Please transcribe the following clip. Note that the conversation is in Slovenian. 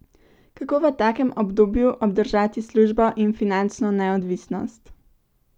Kako v takem obdobju obdržati službo in finančno neodvisnost?